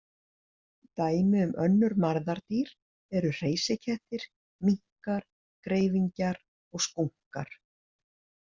Dæmi um önnur marðardýr eru hreysikettir, minkar, greifingjar og skúnkar.